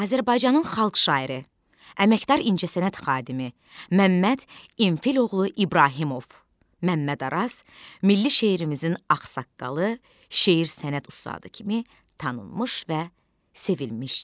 Azərbaycanın xalq şairi, əməkdar incəsənət xadimi Məmməd İmfiloğlu İbrahimov, Məmməd Araz milli şeirimizin ağsaqqalı, şeir sənət ustadı kimi tanınmış və sevilmişdir.